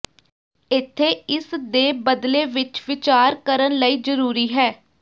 ਇੱਥੇ ਇਸ ਦੇ ਬਦਲੇ ਵਿੱਚ ਵਿਚਾਰ ਕਰਨ ਲਈ ਜ਼ਰੂਰੀ ਹੈ